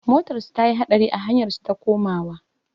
Motarsu ta yi haɗari a hanyar su ta komawa.